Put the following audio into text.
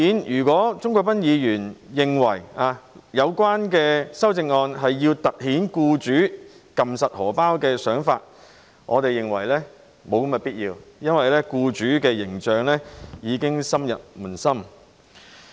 如果鍾國斌議員認為有關修正案是要凸顯僱主緊按錢包的想法，我們認為沒有必要，因為僱主的形象已經深入民心。